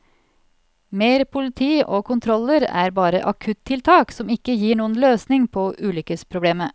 Mer politi og kontroller er bare akuttiltak som ikke gir noen løsning på ulykkesproblemet.